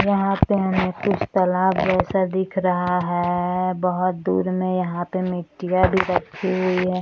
यहां पे हमें कुछ तलाब जैसा दिख रहा है बहुत दूर में यहां पे मिट्टिया भी रखी हुई है।